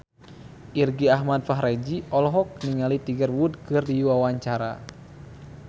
Irgi Ahmad Fahrezi olohok ningali Tiger Wood keur diwawancara